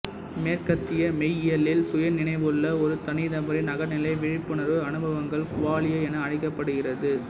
மேற்கத்திய மெய்யியலில் சுயநினைவுள்ள ஒரு தனிநபரின் அகநிலை விழிப்புணர்வு அனுபவங்கள் குவாலியா என அழைக்கப்படுகிறது